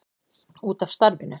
Út af starfinu.